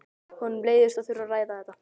Honum leiðist að þurfa að ræða þetta.